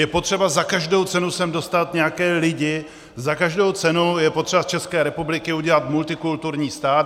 Je potřeba za každou cenu sem dostat nějaké lidi, za každou cenu je potřeba z České republiky udělat multikulturní stát.